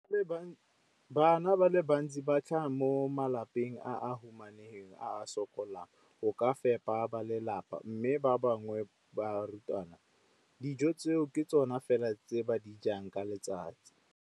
Bana ba le bantsi ba tlhaga mo malapeng a a humanegileng a a sokolang go ka fepa ba lelapa mme ba bangwe ba barutwana, dijo tseo ke tsona fela tse ba di jang ka letsatsi.